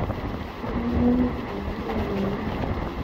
etabaa olkitarri ina moyian